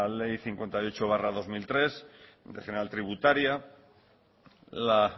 la ley cincuenta y ocho barra dos mil tres ley general tributaria la